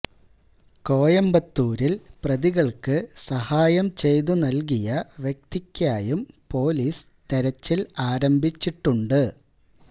കോയമ്പത്തൂരില് പ്രതികള്ക്ക് സഹായം ചെയ്തു നല്കിയ വ്യക്തിക്കായും പൊലീസ് തെരച്ചില് ആരംഭിച്ചിട്ടുണ്ട്